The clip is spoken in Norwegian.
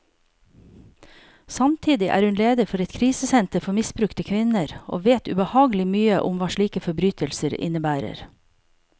Samtidig er hun leder for et krisesenter for misbrukte kvinner, og vet ubehagelig mye om hva slike forbrytelser innebærer.